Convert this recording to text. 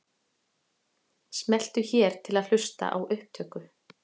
Smelltu hér til að hlusta á upptöku.